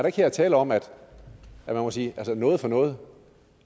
ikke her tale om at man må sige noget for noget